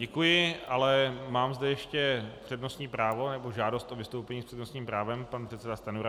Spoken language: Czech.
Děkuji, ale mám zde ještě přednostní právo nebo žádost o vystoupení s přednostním právem - pan předseda Stanjura.